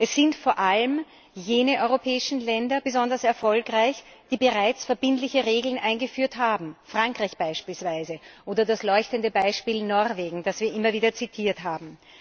Es sind vor allem jene europäischen Länder besonders erfolgreich, die bereits verbindliche Regeln eingeführt haben Frankreich beispielsweise oder das leuchtende Beispiel Norwegen, das wir immer wieder zitiert haben.